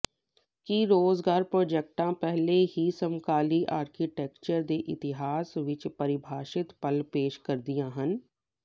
ਕੀ Rogers ਪ੍ਰੋਜੈਕਟਾਂ ਪਹਿਲਾਂ ਹੀ ਸਮਕਾਲੀ ਆਰਕੀਟੈਕਚਰ ਦੇ ਇਤਿਹਾਸ ਵਿਚ ਪਰਿਭਾਸ਼ਿਤ ਪਲ ਪੇਸ਼ ਕਰਦੀਆਂ ਹਨ